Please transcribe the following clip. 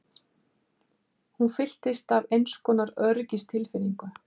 Hún fyllist af einskonar öryggistilfinningu.